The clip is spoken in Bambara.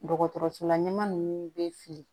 Dɔgɔtɔrɔso la ɲɛma ninnu bɛ fili